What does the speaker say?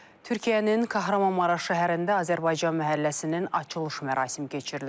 Türkiyənin Qəhrəmanmaraş şəhərində Azərbaycan məhəlləsinin açılış mərasimi keçirilib.